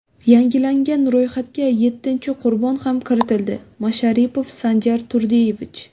Yangilangan ro‘yxatga yettinchi qurbon ham kiritildi: Masharipov Sanjar Turdiyevich.